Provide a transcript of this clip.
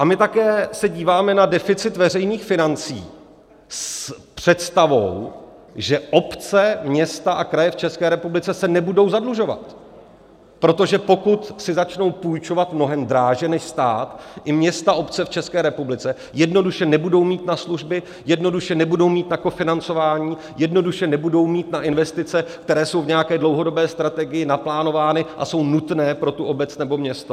A my také se díváme na deficit veřejných financí s představou, že obce, města a kraje v České republice se nebudou zadlužovat, protože pokud si začnou půjčovat mnohem dráže než stát, i města a obce v České republice jednoduše nebudou mít na služby, jednoduše nebudou mít na kofinancování, jednoduše nebudou mít na investice, které jsou v nějaké dlouhodobé strategii naplánovány a jsou nutné pro tu obec nebo město.